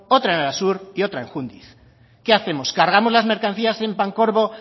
otra en arasur y otra en jundiz qué hacemos cargamos las mercancías en pancorbo